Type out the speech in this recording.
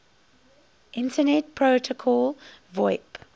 internet protocol voip